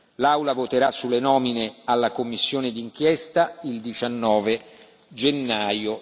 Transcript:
L'Aula voterà sulle nomine alla commissione di inchiesta il 19 gennaio